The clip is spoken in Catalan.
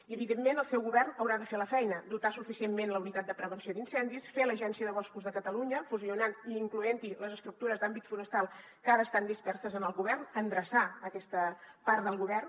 i evidentment el seu govern haurà de fer la feina dotar suficientment la unitat de prevenció d’incendis fer l’agència de boscos de catalunya fusionant i incloent hi les estructures d’àmbit forestal que ara estan disperses en el govern endreçar aquesta part del govern